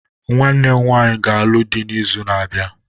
Nwanne m nwanyị ga-alụ dị n'izu na-abịa